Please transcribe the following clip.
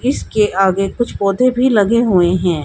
इसके आगे कुछ पौधे भी लगे हुए हैं।